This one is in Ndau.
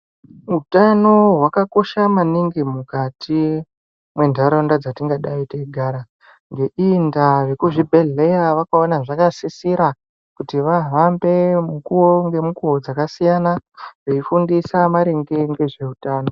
Utano hwakakosha maningi mukati mentaraunda dzatingadai teigara ngeiyi ndaa vekuzvibhedhlera vakaona zvakasisira kuti vahambe mukuwo ngemukuwo dzakasiyana veifundisa maringe ngezveutano.